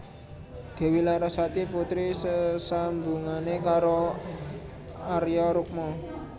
Dewi Larasati putri sesambungane karo Arya Rukma